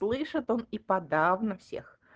слышит он и подавно всех